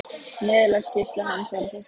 Niðurlag skýrslu hans var á þessa leið